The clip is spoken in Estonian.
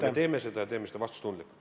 Me teeme seda ja teeme seda vastutustundlikult.